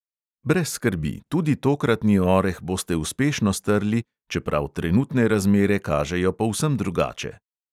Brez skrbi, tudi tokratni oreh boste uspešno strli, čeprav trenutne razmere kažejo povsem drugače.